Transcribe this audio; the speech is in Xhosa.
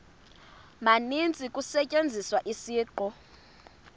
maninzi kusetyenziswa isiqu